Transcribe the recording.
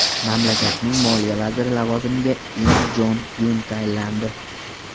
Mamlakatning moliya vaziri lavozimiga Im Jon Yun tayinlandi.